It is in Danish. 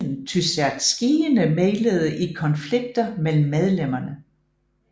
Tysjatskijene mæglede i konflikter mellem medlemmerne